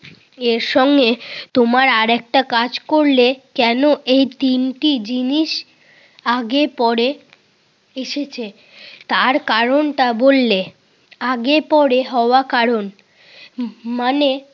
এর সঙ্গে তোমার আরেকটা কাজ করলে কেন এই তিনটি জিনিস আগে পরে এসেছে তার কারণটা বললে আগে পরে হওয়া কারণ, ম~ মানে